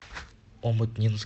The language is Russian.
омутнинск